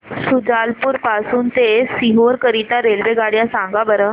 शुजालपुर पासून ते सीहोर करीता रेल्वेगाड्या सांगा बरं